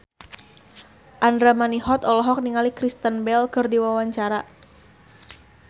Andra Manihot olohok ningali Kristen Bell keur diwawancara